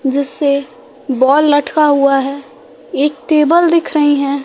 जिससे बॉल लटका हुआ है एक टेबल दिख रही है।